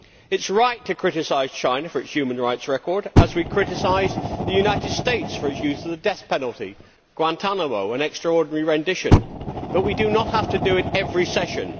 It is right to criticise China for its human rights record, as we criticise the United States for its use of the death penalty, Guantánamo and extraordinary rendition, but we do not have to do it every part session.